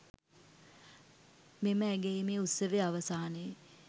මෙම ඇගයීමේ උත්සවය අවසානයේ